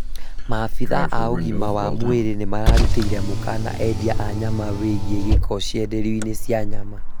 Maabitha a ũgima wa mwĩrĩ nĩmarutĩire mũkana endia a nyama wĩgiĩ gĩko cienderio-inĩ cia nyama